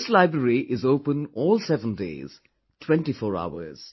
This library is open all seven days, 24 hours